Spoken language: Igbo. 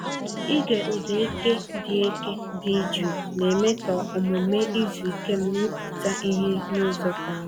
Ịge ụda eke dị eke dị jụụ na-eme ka omume izu ike m rụpụta ihe n'ụzọ ka mma.